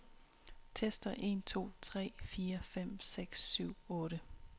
Tester en to tre fire fem seks syv otte.